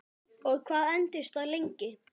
Og hvað entist það lengi?